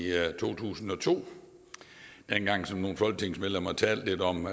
to tusind og to dengang som nogle folketingsmedlemmer talte lidt om